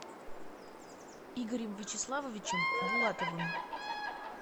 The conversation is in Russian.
игорем вячеславовичем булатовым